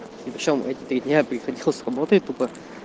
и что эти три дня я приходил с работы тупо